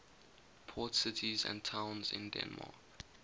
port cities and towns in denmark